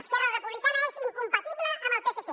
esquerra republicana és incompatible amb el psc